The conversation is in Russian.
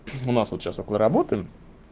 у нас вот сейчас вот мы работаем